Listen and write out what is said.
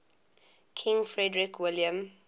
king frederick william